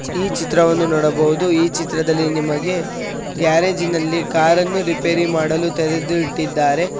ಈ ಚಿತ್ರವನ್ನು ನೋಡಬಹುದು ಈ ಚಿತ್ರದಲ್ಲಿ ನಿಮಗೆ ಗ್ಯಾರೇಜಿ ನಲ್ಲಿ ಕಾರ ನ್ನು ರಿಪೇರಿ ಮಾಡಲು ತೆರದು ಇಟ್ಟಿದ್ದಾರೆ.